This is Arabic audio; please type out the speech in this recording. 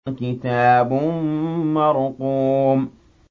كِتَابٌ مَّرْقُومٌ